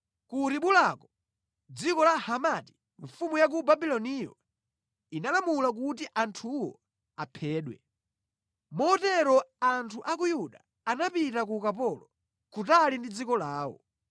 Ku Ribulako, mʼdziko la Hamati, mfumu ya ku Babuloniyo inalamula kuti anthuwo aphedwe. Motero anthu a ku Yuda anapita ku ukapolo, kutali ndi dziko lawo.